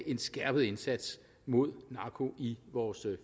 en skærpet indsats mod narko i vores